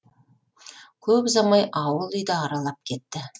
көп ұзамай ауыл үйді аралап кетті